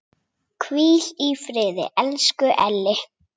Hvíl í friði, elsku Elli.